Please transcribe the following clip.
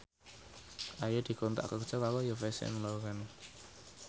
Ayu dikontrak kerja karo Yves Saint Laurent